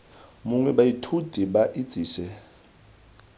mongwe baithuti ba itse se